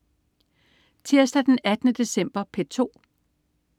Tirsdag den 18. december - P2: